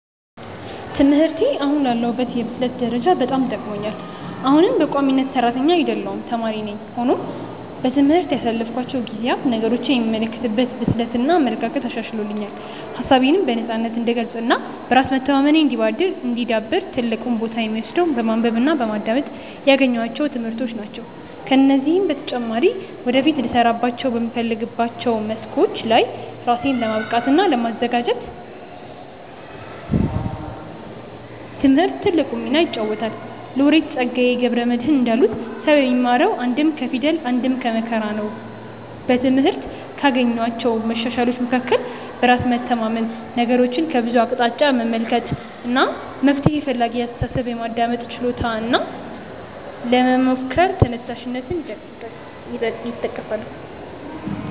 ትምህርቴ አሁን ላለሁበት የብስለት ደረጃ በጣም ጠቅሞኛል። አሁንም በቋሚነት ሰራተኛ አይደለሁም ተማሪ ነኝ። ሆኖም በትምህርት ያሳለፍኳቸው ጊዜያት ነገሮችን የምመለከትበትን ብስለት እና አመለካከት አሻሽሎልኛል። ሀሳቤነም በነፃነት እንድገልፅ እና በራስ መተማመኔ እንዲዳብር ትልቁን ቦታ የሚወስደው በማንበብ እና በማዳመጥ ያገኘኋቸው ትምህርቶች ናቸው። ከዚህም በተጨማሪ ወደፊት ልሰራባቸው በምፈልጋቸው መስኮች ላይ ራሴን ለማብቃት እና ለማዘጋጀት ትምህርት ትልቁን ሚና ይጫወታል። ሎሬት ፀጋዬ ገብረ መድህን እንዳሉት "ሰው የሚማረው አንድም ከፊደል አንድም ከመከራ ነው"።በትምህርት ካገኘኋቸው መሻሻሎች መካከል በራስ መተማመን፣ ነገሮችን ከብዙ አቅጣጫ መመልከት፣ መፍትሔ ፈላጊ አስተሳሰብ፣ የማዳመጥ ችሎታ እና ለመሞከር ተነሳሽነት ይጠቀሳሉ።